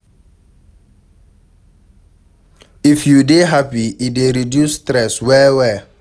If you dey happy, e dey reduce stress well well